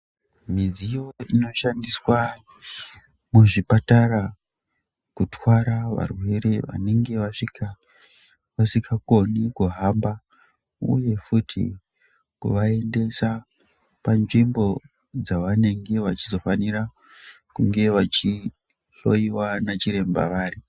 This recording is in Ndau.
Midziyo inoshandiswa muzvipatara ,kutwara varwere vanenge vasvika vasikakone kuhamba uye futi kuvaendesa panzvimbo dzavanenge vachizofanira kunge vachishloiwa nachiremba vari.